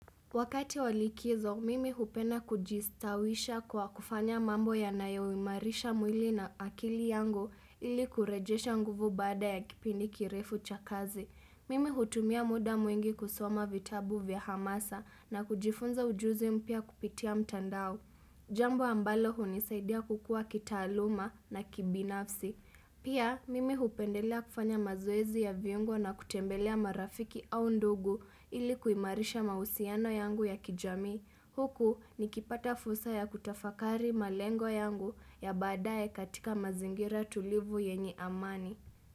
Wakati walikizo, mimi hupenda kujistawisha kwa kufanya mambo yanayo imarisha mwili na akili yangu ili kurejesha nguvu baada ya kipindi kirefu cha kazi. Mimi hutumia muda mwingi kusoma vitabu vya hamasa na kujifunza ujuzi mpya kupitia mtandao. Jambo ambalo hunisaidia kukua kitaaluma na kibinafsi. Pia mimi hupendelea kufanya mazoezi ya viungo na kutembelea marafiki au ndugu ili kuimarisha mahusiano yangu ya kijamii. Huku nikipata fursa ya kutafakari malengo yangu ya baadaye katika mazingira tulivu yenye amani.